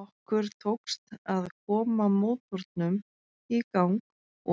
Okkur tókst að koma mótornum í gang